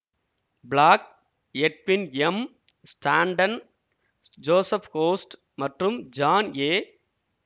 black Edwin M Stanton Joseph Host மற்றும் John ஏ